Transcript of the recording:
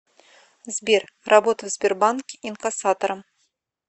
сбер работа в сбербанке инкассатором